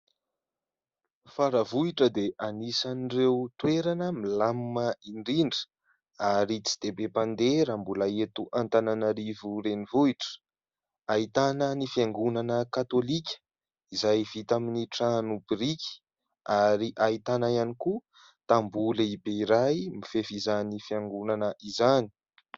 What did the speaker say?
Faravohitra dia anisan'ireo toerana milamina indrindra ary tsy dia be mpandeha raha mbola eto Antananarivo renivohitra. Ahitana ny fiangonana katolika izay vita amin'ny trano biriky ary ahitana ihany koa tamboho lehibe iray, mifefy izany fiangonana izany.